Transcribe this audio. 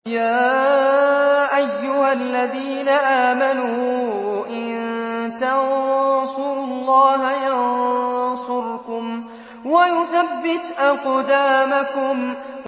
يَا أَيُّهَا الَّذِينَ آمَنُوا إِن تَنصُرُوا اللَّهَ يَنصُرْكُمْ وَيُثَبِّتْ أَقْدَامَكُمْ